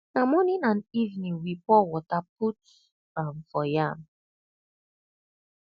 na morning and evening we pour water put um for farm